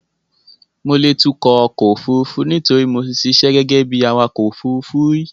Mo lè tukọ̀ ọkọ̀ òfurufú nítorí mo ti ṣiṣẹ́ gẹ́gẹ́ bí awakọ̀ òfurufú rí.